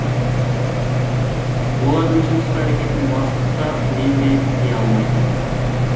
олардың жымысқы әрекетін бастық та мен де тыя алмайтынмын